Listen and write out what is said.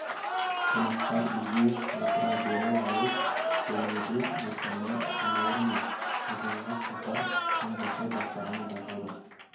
қонақтар үйге отыра бере ауыз бөлмеде айшаның самауыр мен қазанға қатар қам жасай бастағаны байқалды